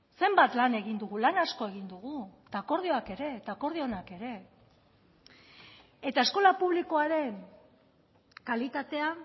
zenbat lan egin dugu lan asko egin dugu eta akordioak ere eta akordio onak ere eta eskola publikoaren kalitatea